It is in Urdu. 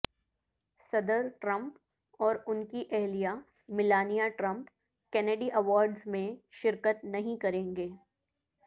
صدر ٹرمپ اور ان کی اہلیہ میلانیہ ٹرمپ کینیڈی ایوارڈز میں شرکت نہیں کریں گے